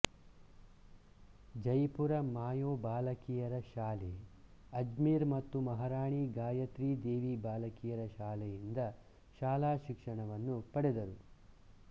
ಜೈಪುರದ Mayo ಬಾಲಕಿಯರ ಶಾಲೆ ಅಜ್ಮೀರ್ ಮತ್ತು ಮಹಾರಾಣಿ ಗಾಯತ್ರಿ ದೇವಿ ಬಾಲಕಿಯರ ಶಾಲೆಯಿಂದ ಶಾಲಾ ಶಿಕ್ಷಣವನ್ನು ಪಡೆದರು